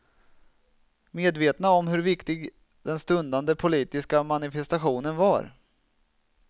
Medvetna om hur viktig den stundande politiska manifestationen var.